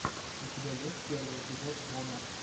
у тебя есть первый эпизод вона